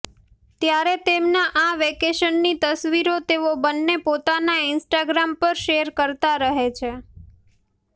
ત્યારે તેમના આ વેકેશનની તસવીરો તેઓ બંને પોતાના ઇન્સ્ટાગ્રામ પર શેર કરતા રહે છે